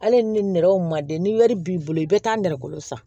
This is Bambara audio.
Hali ni nɛrɛw ma den ni wari b'i bolo i bɛ taa nɛrɛ kolo san